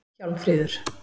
Hjálmfríður